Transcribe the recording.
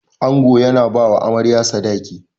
Ango yana bawa Amarya Sadaki.